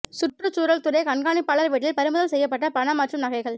சுற்றுச்சூழல் துறை கண்காணிப்பாளர் வீட்டில் பறிமுதல் செய்யப்பட்ட பணம் மற்றும் நகைகள்